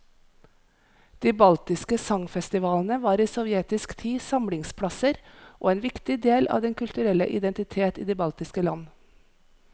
De baltiske sangfestivalene var i sovjetisk tid samlingsplasser og en viktig del av den kulturelle identitet i de baltiske land.